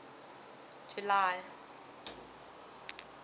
july